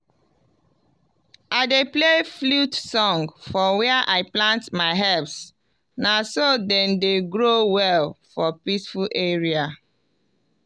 i dey play flute song for where i plant my herbs na so dem dey grow well for peaceful area.